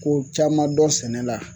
Ko caman dɔn sɛnɛ la